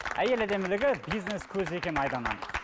әйел әдемілігі бизнес көзі екені айдан анық